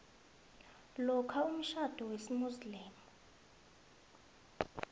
lokha umtjhado wesimuslimu